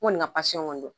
N kɔni ka kɔni don